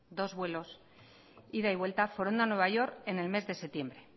dos vuelos ida y vuelta foronda nueva york en el mes de septiembre